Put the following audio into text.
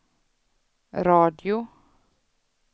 radio